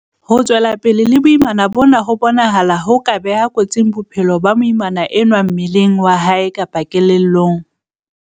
Ho tswela pele le boimana bona ho bonahala ho ka beha kotsing bophelo ba moimana enwa mmeleng wa hae kapa kelellong.